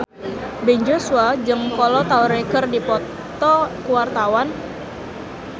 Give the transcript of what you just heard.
Ben Joshua jeung Kolo Taure keur dipoto ku wartawan